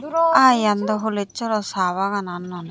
aa yen dw holes swrw sa baganan noney.